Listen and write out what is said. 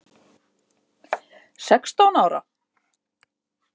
Sextán ára?